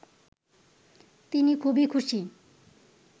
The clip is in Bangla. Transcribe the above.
তিনি খুবই খুশি